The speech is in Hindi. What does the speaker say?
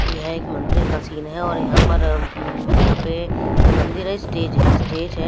ये एक मंदिर का सीन है और यहां पर म्म यहां पे ये मंदिर है स्टेज है स्टेज है।